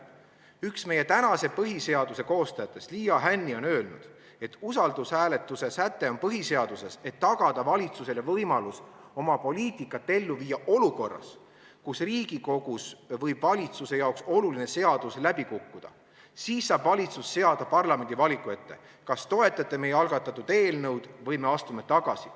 Üks meie tänase põhiseaduse koostajatest, Liia Hänni, on öelnud, et usaldushääletuse säte on põhiseaduses selleks, et tagada valitsusele võimalus oma poliitikat ellu viia olukorras, kus Riigikogus võib valitsuse jaoks oluline seadus läbi kukkuda, siis saab valitsus seada parlamendi valiku ette, kas toetate meie algatatud eelnõu või me astume tagasi.